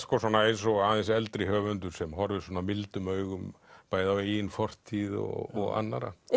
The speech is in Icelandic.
eins og eldri höfundur sem horfir mildum augum bæði á eigin fortíð og annarra